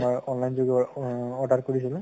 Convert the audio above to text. আমাৰ online যোগে অহ order কৰিছিলো